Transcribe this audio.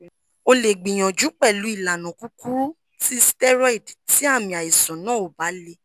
o le gbiyanju pelu ilana kukuru ti steroid ti aami aisan na o ba le